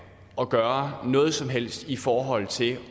at gøre noget som helst i forhold til